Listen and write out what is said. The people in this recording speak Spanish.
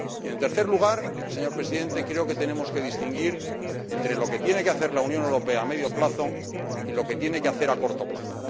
Y, en tercer lugar, señor Presidente, creo que tenemos que distinguir entre lo que tiene que hacer la Unión Europea a medio plazo y lo que tiene que hacer a corto plazo.